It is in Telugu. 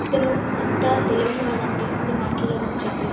ఇతను ఎంత తెలివైనవాడు వాడు అంటే అది మాటల్లో కూడా చెప్పలేం.